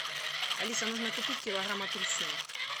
алиса нужно купить килограмм апельсин